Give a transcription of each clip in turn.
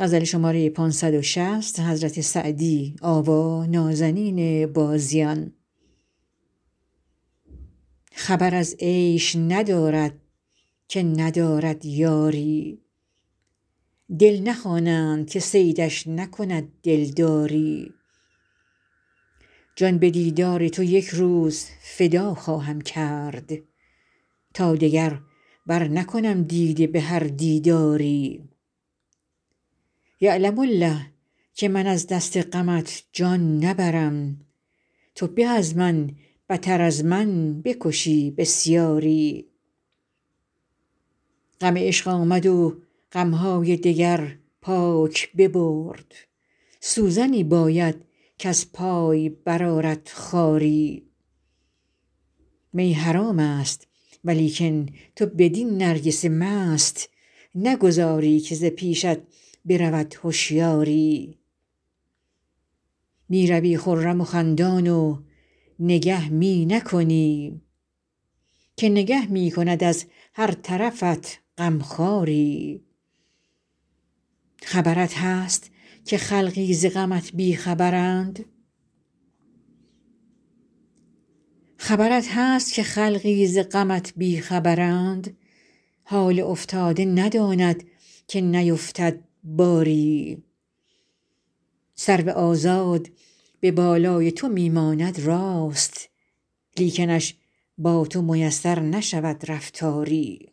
خبر از عیش ندارد که ندارد یاری دل نخوانند که صیدش نکند دلداری جان به دیدار تو یک روز فدا خواهم کرد تا دگر برنکنم دیده به هر دیداری یعلم الله که من از دست غمت جان نبرم تو به از من بتر از من بکشی بسیاری غم عشق آمد و غم های دگر پاک ببرد سوزنی باید کز پای برآرد خاری می حرام است ولیکن تو بدین نرگس مست نگذاری که ز پیشت برود هشیاری می روی خرم و خندان و نگه می نکنی که نگه می کند از هر طرفت غم خواری خبرت هست که خلقی ز غمت بی خبرند حال افتاده نداند که نیفتد باری سرو آزاد به بالای تو می ماند راست لیکنش با تو میسر نشود رفتاری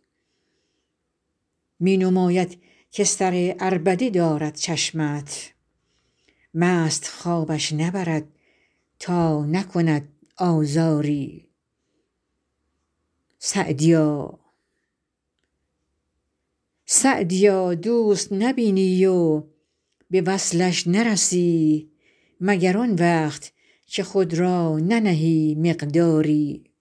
می نماید که سر عربده دارد چشمت مست خوابش نبرد تا نکند آزاری سعدیا دوست نبینی و به وصلش نرسی مگر آن وقت که خود را ننهی مقداری